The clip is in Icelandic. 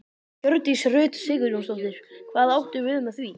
Hjördís Rut Sigurjónsdóttir: Hvað áttu við með því?